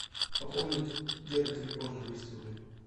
пополнить деда телефон на двести рублей